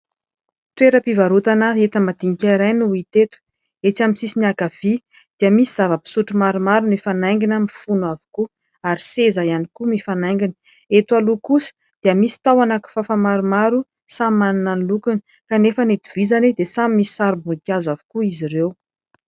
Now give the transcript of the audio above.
Toeram-pivarotana enta-madinika iray no hita eto. Etsy amin'ny sisiny ankavia dia misy zava-pisotro maromaro mifanaingina mifono avokoa ary seza ihany koa mifanaingina. Eto aloha kosa dia misy tahona kifafa maromaro, samy manana ny lokony kanefa ny itovizany dia samy misy sarim-boninkazo avokoa izy ireo.